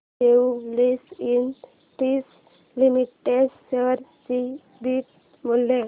Jubilant industries limited share चे beta मूल्य